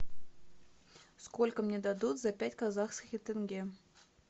сколько мне дадут за пять казахских тенге